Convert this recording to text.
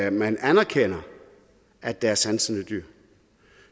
at man anerkender at der er sansende dyr